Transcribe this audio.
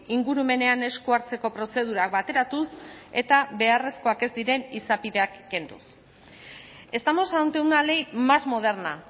ingurumenean esku hartzeko prozedurak bateratuz eta beharrezkoak ez diren izapideak kenduz estamos ante una ley más moderna